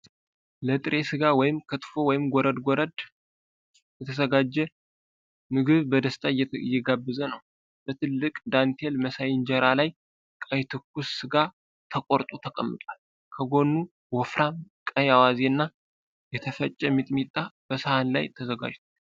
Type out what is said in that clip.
ለጥሬ ሥጋ (ክትፎ/ጎረድ ጎረድ) የተዘጋጀ ምግብ በደስታ እየጋበዘ ነው። በትልቅ ዳንቴል መሳይ እንጀራ ላይ ቀይ ትኩስ ሥጋ ተቆርጦ ተቀምጧል፤ ከጎኑ ወፍራም ቀይ አዋዜ እና የተፈጨ ሚጥሚጣ በሳህን ላይ ተዘጋጅቷል።